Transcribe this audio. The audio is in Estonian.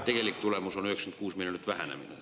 … aga tegelik tulemus on 96-miljoniline vähenemine.